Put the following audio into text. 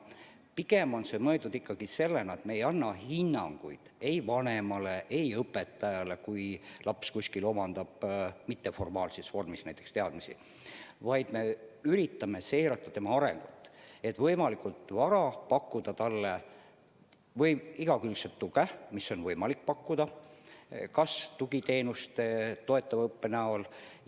Aga pigem on see mõeldud ikkagi nii, et me ei anna hinnanguid ei vanemale ega õpetajale, kui laps omandab teadmisi mitteformaalses vormis, vaid me üritame seirata lapse arengut, et võimalikult vara pakkuda talle igakülgset tuge, mida on võimalik pakkuda kas tugiteenuste, toetava õppe näol.